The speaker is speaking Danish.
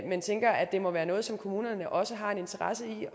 men tænker at det må være noget som kommunerne også har en interesse i